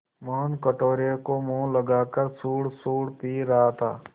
मोहन कटोरे को मुँह लगाकर सुड़सुड़ पी रहा था